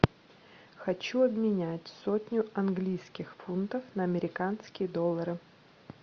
хочу обменять сотню английских фунтов на американские доллары